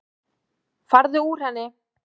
Farðu úr henni.